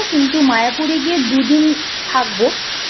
কিন্তু মায়াপুরে এ গিয়ে দুদিন থাকবো